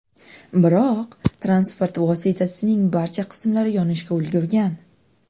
Biroq, transport vositasining barcha qismlari yonishga ulgurgan.